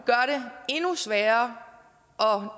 endnu sværere